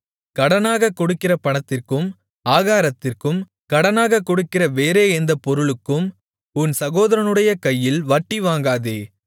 கடனாகக் கொடுக்கிற பணத்திற்கும் ஆகாரத்திற்கும் கடனாகக் கொடுக்கிற வேறே எந்தப் பொருளுக்கும் உன் சகோதரனுடைய கையில் வட்டிவாங்காதே